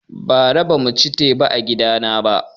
Bara bamu ci teba a gida na ba